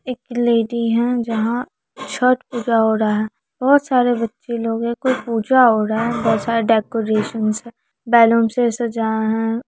एक लेडी है जहां छत पूजा हो रहा है बोहोत सारे बच्चे लोग हैं ये कोई पूजा हो रहा है बोहोत सारे डेकोरैशन हैं बैलून्स से सजाए हैं ।